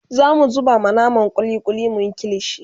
zamu zuba ma naman kulli kulli muyi kilishi